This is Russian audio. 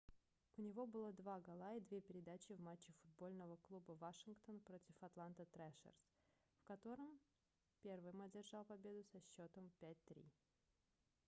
у него было 2 гола и 2 передачи в матче футбольного клуба вашингтон против атланта трэшерз в котором первый одержал победу со счётом 5-3